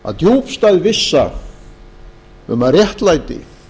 að djúpstæð vissa um að réttlæti